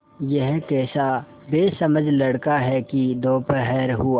यह कैसा बेसमझ लड़का है कि दोपहर हुआ